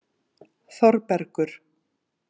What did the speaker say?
Þorbergur